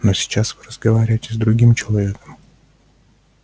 но сейчас вы разговариваете с другим человеком